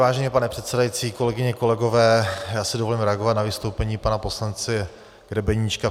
Vážený pane předsedající, kolegyně, kolegové, já si dovolím reagovat na vystoupení pana poslance Grebeníčka.